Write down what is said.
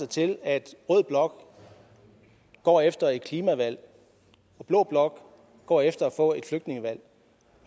til at rød blok går efter et klimavalg og blå blok går efter at få et flygtningevalg